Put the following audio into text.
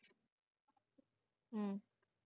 ਹਮ